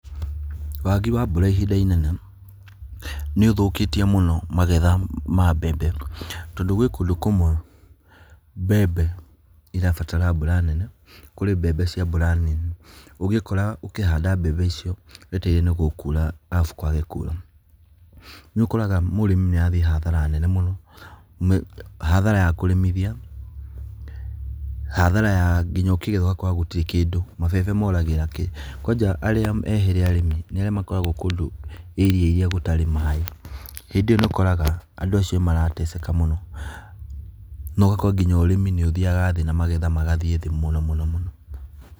Wagi wa mbura ihinda inene nĩ ũthũkĩtie mũno magetha ma mbembe tondu gwĩ kũndu kũmwe mbembe irabatara mbura nene, kũrĩ mbembe cia mbura nini ũgĩikora ũkĩhanda mbembe icio wetereire nĩgũkũura arabũ kwage kũura, nĩ ũkoraga mũrĩmi nĩ arathiĩ hadhara nene mũno, hadhara ya kũrĩmithia, hadhara ya nginya ũkĩgetha ũgakora gũtirĩ kĩndũ, mabebe moragĩra kĩĩ. Kwanja arĩa ehĩre nĩ arĩmi arĩa makoragwo kũndu area iria gũtari maaĩ. Hindĩ iyo nĩ ũkoraga andũ acio nĩ marateseka mũno na ũgakora nginya ũrĩmi nĩ ũthiaga thĩĩ, magetha magathiĩ thĩĩ mũno mũno.